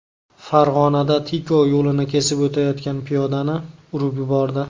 Farg‘onada Tico yo‘lni kesib o‘tayotgan piyodani urib yubordi.